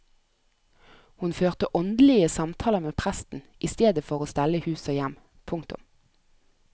Hun førte åndelige samtaler med presten istedetfor å stelle hus og hjem. punktum